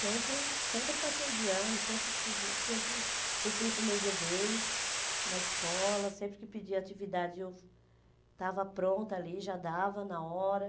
Sempre sempre passei de ano, sempre estu sempre cumpri com meus deveres na escola, sempre que pedia atividade eu estava pronta ali, já dava na hora.